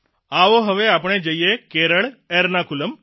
આવો હવે આપણે જઇએ છીએ કેરળ એર્નાકુલમ